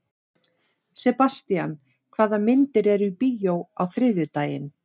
Sebastian, hvaða myndir eru í bíó á þriðjudaginn?